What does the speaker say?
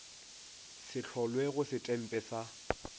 se hlolwe go setempe sa